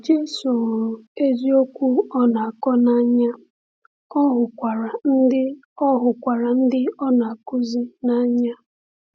Jésù hụrụ eziokwu ọ na-akọ n’anya, ọ hụrụkwa ndị ọ hụrụkwa ndị ọ na-akụzi n’anya.